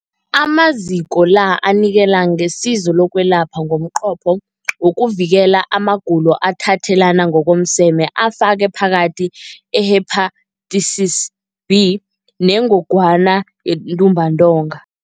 Amaziko la anikela ngesizo lokwelapha ngomnqopho wokuvikela amagulo athathelana ngokomseme afaka phakathi i-Hepatitis B neNgogwana yeNtumbantonga.